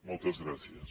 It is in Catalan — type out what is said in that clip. moltes gràcies